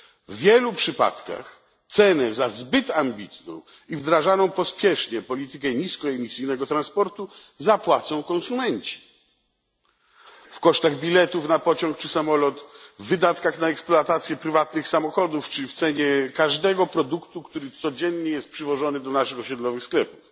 W wielu przypadkach cenę za zbyt ambitną i wdrażaną pospiesznie politykę niskoemisyjnego transportu zapłacą konsumenci w kosztach biletów na pociąg czy samolot, w wydatkach na eksploatację prywatnych samochodów czy w cenie każdego produktu, który codziennie jest przywożony do naszych osiedlowych sklepów.